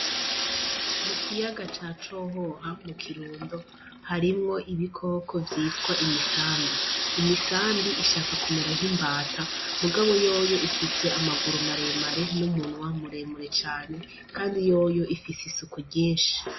Mu kiyaga ca cohoha mu kirundo harimwo ibikoko vyitwa imisambi, imisambi ishaka kumera nk'imbata ,mugabo yoyo ifise amaguru maremare n’umunwa muremure cane, kandi yoyo ifise isuku ryenshi.